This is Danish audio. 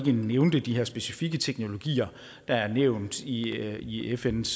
nævnte de her specifikke teknologier der er nævnt i i fns